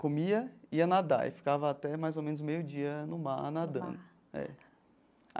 comia, ia nadar e ficava até mais ou menos meio dia no mar nadando é.